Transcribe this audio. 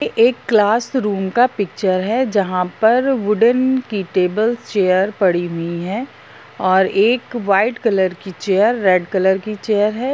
एक class room का picture है जहां पर वुडन की टेबल चेयर पड़ी हुई है और एक वाइट कलर की चेयर रेड कलर की चेयर है।